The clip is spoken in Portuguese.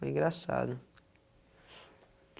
Foi engraçado.